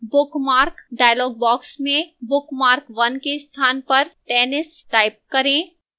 bookmark dialog box में bookmark1 के स्थान पर tennis type करें